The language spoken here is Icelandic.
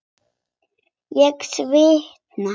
Ég svitna.